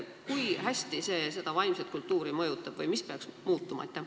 Kui hästi see mõjub sellele vaimsele kultuurile või mis peaks muutuma?